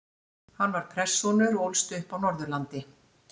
Hann var prestssonur og ólst upp á Norðurlandi.